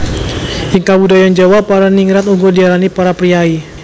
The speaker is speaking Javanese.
Ing kabudayan Jawa para ningrat uga diarani para priyayi